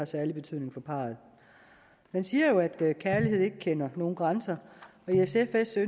særlig betydning for parret man siger jo at kærlighed ikke kender nogen grænser og i sf ønsker